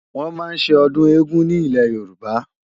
Wòn má n sé òdùn égùn ni Ilé Yoruba